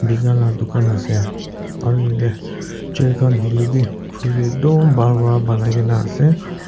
tina laga dukan ase aru jatte chair khan hoile bhi khori eman bhan para bonai kina ase.